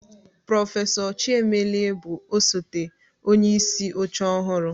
Prọfesọ Chiemelie bụ osote onyeisi oche ọhụrụ.